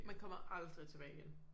Man kommer aldrig tilbage igen